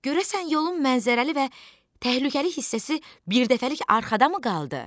Görəsən yolun mənzərəli və təhlükəli hissəsi birdəfəlik arxadamı qaldı?